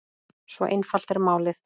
Svo einfalt er málið.